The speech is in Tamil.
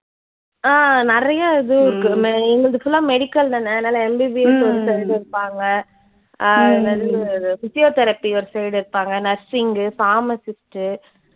ஆஹ் நிறைய இது இருக்கு எங்களுது full லா medical தான அதனால MBBS ஒருத்தரு இருப்பாங்க. அஹ் physiotherapy ஒருத்தரு இருப்பாங்க, nursing கு, pharmacist உ